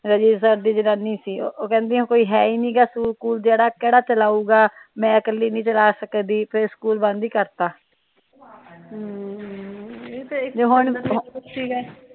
ਦੀ ਜਨਾਨੀ ਸੀ ਉਹ ਕਹਿੰਦੀਆਂ ਕੋਈ ਹੈ ਈ ਨਹੀਂ ਗਾ ਸਕੂਲ ਜਿਹੜਾ ਕਿਹੜਾ ਚਲਾਊਗਾ ਮੈ ਇੱਕਲੀ ਨਹੀਂ ਚਲਾ ਸਕਦੀ ਫਿਰ ਸਕੂਲ ਬੰਦ ਈ ਕਰਤਾ ਤੇ ਹੁਣ